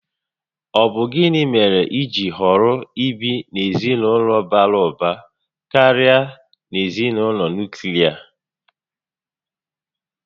Ọbu gịnị mèrè ijiri họrọ ibi n'ezinaulo bara ụba karịa na ezinaụlọ nuklia?